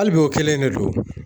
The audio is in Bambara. Hali bi o kɛlen de don.